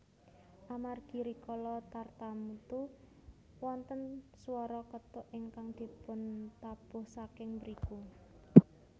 Amargi rikala tartamtu wonten swara kethuk ingkang dipuntabuh saking mriku